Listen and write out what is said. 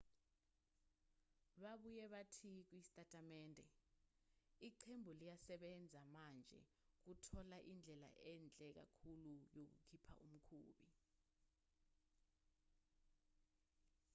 babuye bathi kusitatimende iqembu liyasebenza manje ukuthola indlela enhle kakhulu yokukhipha umkhumbi